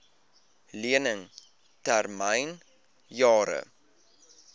lening termyn jare